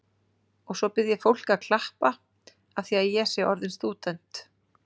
Og svo bið ég fólk að klappa afþvíað ég sé orðin stúdent.